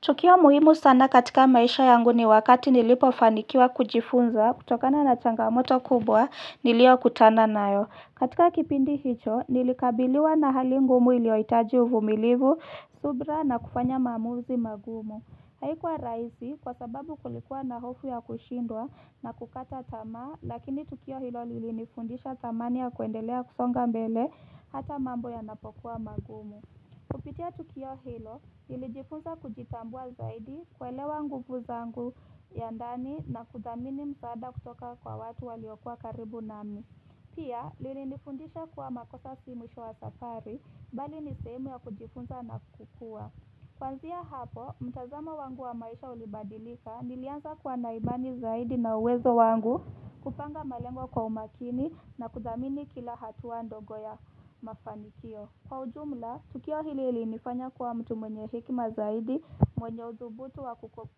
Tukio muhimu sana katika maisha yangu ni wakati nilipofanikiwa kujifunza kutokana na changamoto kubwa niliyo kutana nayo. Katika kipindi hicho nilikabiliwa na hali ngumu iliyohitaji uvumilivu, subra na kufanya maamuzi magumu Haikuwa rahisi kwa sababu kulikuwa na hofu ya kushindwa na kukata tamaa lakini tukio hilo lilinifundisha thamani ya kuendelea kusonga mbele hata mambo yanapokuwa magumu Kupitia tukio hilo, nilijifunza kujitambua zaidi kuelewa nguvu zangu ya ndani na kuthamini msaada kutoka kwa watu waliokuwa karibu nami. Pia, lilinifundisha kuwa makosa si mwisho wa safari, bali ni sehemu ya kujifunza na kukua. Kuanzia hapo, mtazamo wangu wa maisha ulibadilika nilianza kuwa na imani zaidi na uwezo wangu kupanga malengwa kwa umakini na kuthamini kila hatua ndogo ya mafanikio. Kwa ujumla, tukio hili ilinifanya kuwa mtu mwenye hekima zaidi, mwenye uthubutu wa